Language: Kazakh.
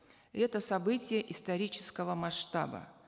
это событие исторического масштаба